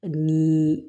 Ni